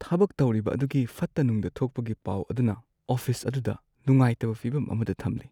ꯊꯕꯛ ꯇꯧꯔꯤꯕ ꯑꯗꯨꯒꯤ ꯐꯠꯇ-ꯅꯨꯡꯗ ꯊꯣꯛꯄꯒꯤ ꯄꯥꯎ ꯑꯗꯨꯅ ꯑꯣꯐꯤꯁ ꯑꯗꯨꯗ ꯅꯨꯉꯥꯏꯇꯕ ꯐꯤꯕꯝ ꯑꯃꯗ ꯊꯝꯂꯦ ꯫